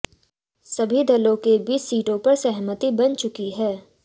सभी दलों के बीच सीटों पर सहमति बन चुकी है